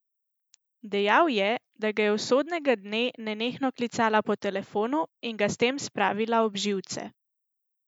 Dejal je, da ga je usodnega dne nenehno klicala po telefonu in ga s tem spravila ob živce.